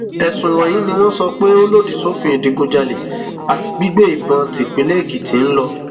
ẹsùn wọnyí ni wọn sọ pé ó lòdì sófin ìdígunjalè àti gbígbé ìbọn típínlẹ èkìtì ń lọ